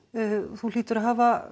þú hlýtur að hafa